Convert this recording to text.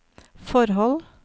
forhold